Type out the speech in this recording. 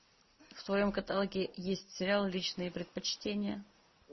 в твоем каталоге есть сериал личные предпочтения